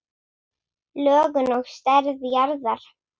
Lögun og stærð jarðar